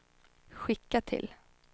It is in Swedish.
skicka till